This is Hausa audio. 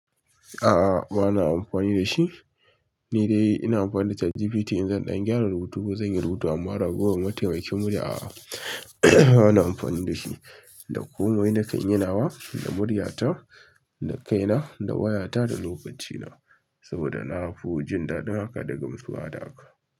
A'a, ba na amfani da shi. Ni dai ina amfani da ChatGPT in zan ɗan gyara rubutu ko zan yi rubutu amma ragowar mataikin murya a'a, ba na amfani da shi. Da komai na kan yi nawa da murya ta, da kai na, da waya ta, da lokaci na. Saboda na fi jin daɗin haka da gamsuwa da haka.